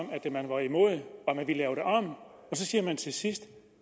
at man vil lave det om og så siger man til sidst